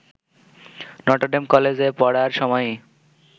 Notre Dame কলেজে পড়ার সময়ই